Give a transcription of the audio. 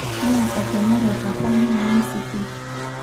'Naa etemerate apa na nwesi pii.